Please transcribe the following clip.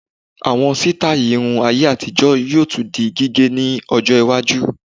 Àwọn sítáì irun ayé-àtijọ́ yóò tún di gígẹ̀ ní ọjọ́-iwájú.